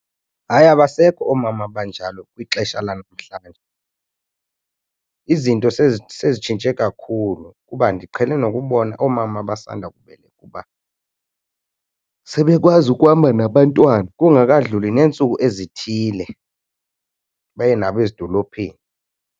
Hayi, abasekho oomama abanjalo kwixesha lanamhlanje. Izinto sezitshintshe kakhulu kuba ndiqhele nokubona oomama abasanda kubeleka uba sebekwazi ukuhamba nabantwana kungakadluli neentsuku ezithile baye nabo ezidolophini.